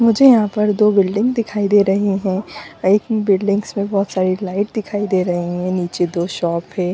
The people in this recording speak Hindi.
मुझे यहा पर दो बिल्डिंग दिखाई दे रहे है एक बिल्डिंग में बहुत सारे लाइट दिखाई दे रहे है निचे दो शॉप है।